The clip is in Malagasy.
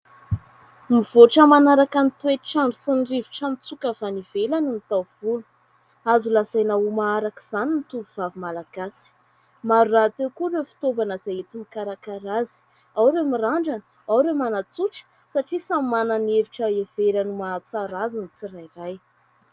Mivoatra manaraka ny toetr'andro sy ny rivotra mitsoaka avy any ivelany ny taovolo, azo lazaina ho maharaka izany ny tovovavy Malagasy. Maro rahateo koa ireo fitaovana izay enti- mikarakara azy ; ao ireo mirandrana, ao ireo manatsotra, satria samy manana ny hevitra heveriny mahatsara azy ny tsirairay.